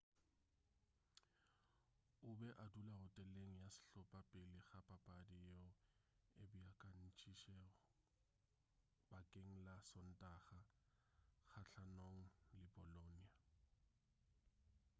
o be a dula hoteleng ya sehlopa pele ga papadi yeo e beakantšitšwego bakeng la sontaga kgahlanong le bolonia